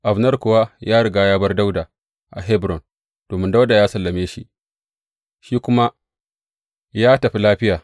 Abner kuwa ya riga ya bar Dawuda a Hebron, domin Dawuda ya sallame shi, shi kuma ya tafi lafiya.